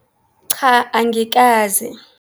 Cha, angikaze.